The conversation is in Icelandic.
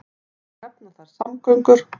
Má þar nefna samgöngur.